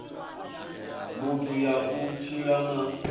muthu ya u tshila na